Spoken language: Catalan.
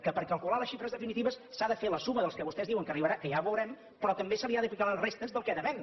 que per calcular les xifres definitives s’ha de fer la suma dels que vostès diuen que arribaran que ja ho veurem però també se li ha d’aplicar les restes del que devem